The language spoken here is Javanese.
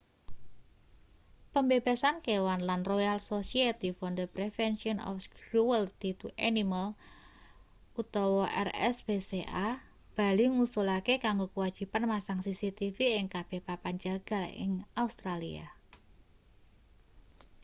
pembebasan kewan lan royal society for the prevention of cruelty to animals rspca bali ngusulake kanggo kewajiban masang cctv ing kabeh papan jagal ing australia